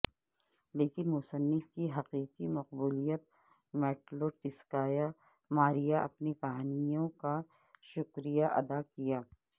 لیکن مصنف کی حقیقی مقبولیت میٹلوٹسکایا ماریا اپنی کہانیوں کا شکریہ ادا کیا